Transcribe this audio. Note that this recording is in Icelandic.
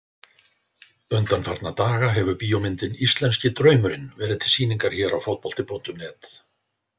Undanfarna daga hefur bíómyndin Íslenski draumurinn verið til sýningar hér á Fótbolta.net.